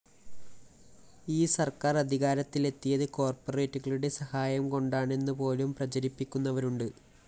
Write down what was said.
ഈ സര്‍ക്കാര്‍ അധികാരത്തിലെത്തിയത് കോര്‍പ്പറേറ്റുകളുടെ സഹായം കൊണ്ടാണെന്നുപോലും പ്രചരിപ്പിക്കുന്നവരുണ്ട്